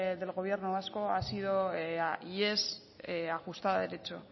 del gobierno vasco ha sido y es ajustada a derecho